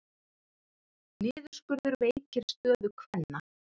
Niðurskurður veikir stöðu kvenna